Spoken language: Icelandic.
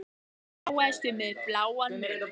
Ég þráaðist við með bláan munn.